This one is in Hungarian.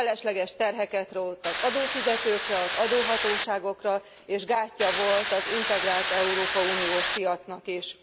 Felesleges terheket rótt az adófizetőkre, az adóhatóságokra és gátja volt az integrált európai uniós piacnak is.